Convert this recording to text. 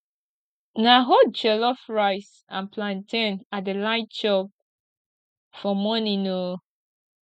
na hot jollof rice and plantain i dey like chop for morning o